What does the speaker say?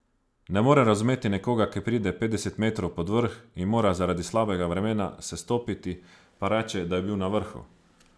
Ne morem razumeti nekoga, ki pride petdeset metrov pod vrh in mora zaradi slabega vremena sestopiti, pa reče, da je bil na vrhu.